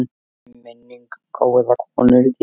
Minning um góða konu lifir.